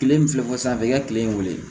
Kile in filɛ sisan a bɛ kɛ kile in wele